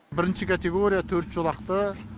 бірінші категория төрт жолақты